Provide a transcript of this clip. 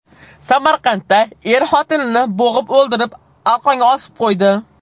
Samarqandda er xotinini bo‘g‘ib o‘ldirib, arqonga osib qo‘ydi.